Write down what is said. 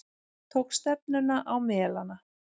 Tók stefnuna á Melana.